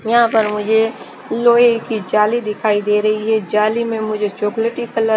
यहाँ पर मुझे लोहे की झाली दिखा दे रही है झाली में मुझे चॉकलेटी कलर --